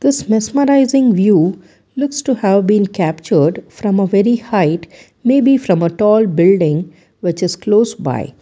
this mesmerizing view looks to have been captured from a very height maybe from a tall building which is closed by--